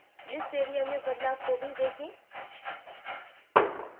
list area में बदलाव को भी देखें